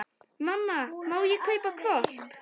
Mamma, má ég kaupa hvolp?